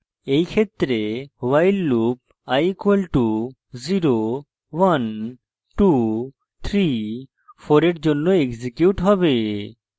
in ক্ষেত্রে while loop i = 0123 in জন্য execute হবে